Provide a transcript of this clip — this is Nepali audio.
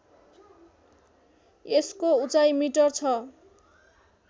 यसको उचाइ मिटर छ